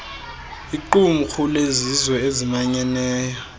liqumrhu lezizwe ezimanyeneyo